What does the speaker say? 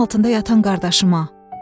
Yerin altında yatan qardaşıma.